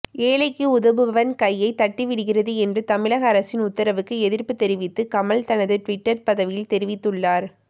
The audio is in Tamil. ஏழைக்கு உதவுபவன் கையைத் தட்டிவிடுகிறது என்று தமிழக அரசின் உத்தரவுக்கு எதிர்ப்பு தெரிவித்து கமல் தனது ட்விட்டர் பதிவில் தெரிவித்துள்ளார்